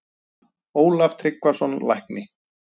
Ólaf Tryggvason, lækni